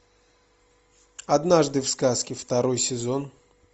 однажды в сказке второй сезон